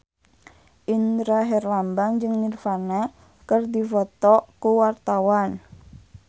Indra Herlambang jeung Nirvana keur dipoto ku wartawan